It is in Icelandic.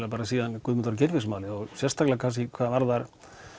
síðan Guðmundar og Geirfinnsmálið og sérstaklega hvað varðar